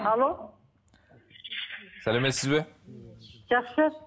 алло сәлеметсіз бе жақсы